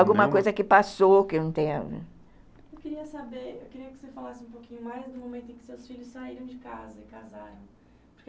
Alguma coisa que passou que eu não tenho... Eu queria saber, eu queria que você falasse um pouquinho mais do momento em que seus filhos saíram de casa e casaram.